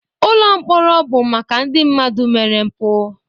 Ụlọ mkpọrọ bụ maka ndị mmadụ mere mpụ